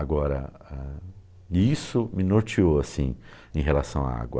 Agora, ah, isso me norteou, assim, em relação à água.